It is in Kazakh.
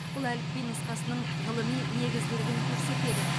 бұл әліпби нұсқасының ғылыми негізділігін көрсетеді